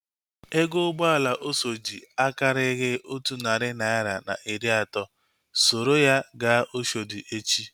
Ego ụgbọala Oshodi akarighi otu narị naira na iri atọ. Soro ya gaa Oshodi echi!